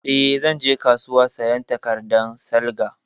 Eh, zan je kasuwa sayan takardan salga